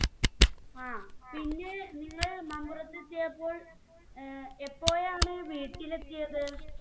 ആ പിന്നെ നിങ്ങൾ മമ്പുറത്ത് എത്തിയപ്പോൾ ഏർ എപ്പോഴാണ് വീട്ടിലെത്തിയത്